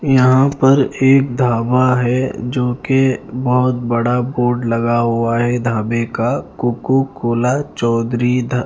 यहां पर एक ढाबा है जोकि बहोत बड़ा बोर्ड लगा हुआ है ढाबे का कोको कोला चौधरी--